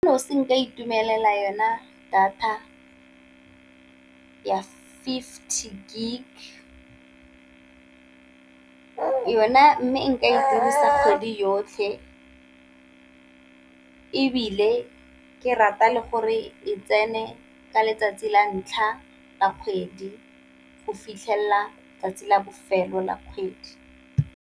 nka itumelela yona data ya fifty gig, yona mme nka e dirisa kgwedi yotlhe, ebile ke rata le gore e tsene ka letsatsi la ntlha la kgwedi go fitlhelela tsatsi la bofelo la kgwedi.